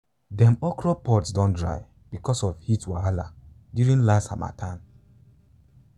dem okra pods don dry because of heat wahala during last harmattan.